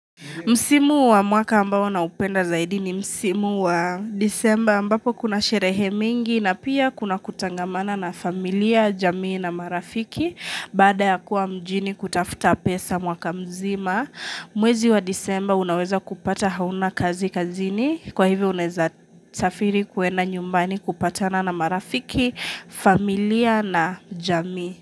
Msimu wa mwaka ambao na upenda zaidi ni msimu wa Disemba ambapo kuna sherehe mingi na pia kuna kutangamana na familia, jamii na marafiki baada ya kuwa mjini kutafuta pesa mwaka mzima Mwezi wa Disemba unaweza kupata hauna kazi kazini kwa hivo unaweza safiri kuenda nyumbani kupatana na marafiki, familia na jamii.